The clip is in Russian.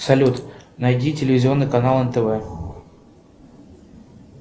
салют найди телевизионный канал нтв